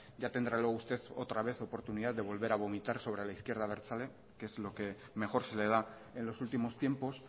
ya tendrá luego usted otra vez oportunidad de volver a vomitar sobre la izquierda abertzale que es lo que mejor se le da en los últimos tiempos